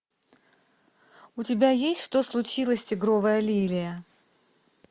у тебя есть что случилось тигровая лилия